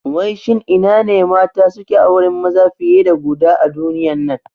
Wai shin ina ne mata suke auren maza fiye da guda a duniyan nan?